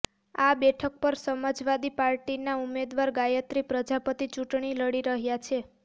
આ બેઠક પર સમાજવાદી પાર્ટીના ઉમેદવાર ગાયત્રી પ્રજાપતિ ચૂંટણી લડી રહ્યાં છે